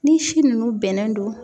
Ni si nunnu bɛnnen do.